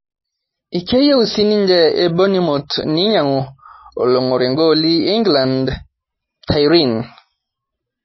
Keyieu sininye bonimoth ninyangú olongór igooli Inkiland tyrene